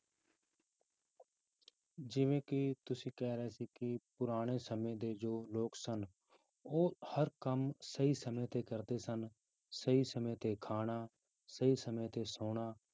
ਜਿਵੇਂ ਕਿ ਤੁਸੀਂ ਕਹਿ ਰਹੇ ਸੀ ਕਿ ਪੁਰਾਣੇ ਸਮੇਂ ਦੇ ਜੋ ਲੋਕ ਸਨ ਉਹ ਹਰ ਕੰਮ ਸਹੀ ਸਮੇਂ ਤੇ ਕਰਦੇ ਸਨ ਸਹੀ ਸਮੇਂ ਤੇ ਖਾਣਾ, ਸਹੀ ਸਮੇਂ ਤੇ ਸੌਣਾ